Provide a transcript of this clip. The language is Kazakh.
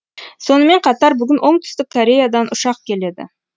сонымен қатар бүгін оңтүстік кореядан ұшақ келеді